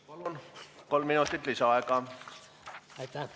Palun, kolm minutit lisaaega!